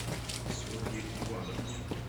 софье ивановне